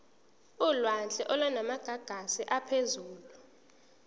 olwandle olunamagagasi aphezulu